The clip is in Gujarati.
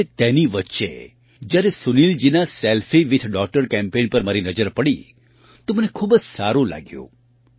અને તેની વચ્ચે જ્યારે સુનિલજીના સેલ્ફી વિથ ડૉટર કેમ્પેઇન પર મારી નજર પડી તો મને ખૂબ જ સારું લાગ્યું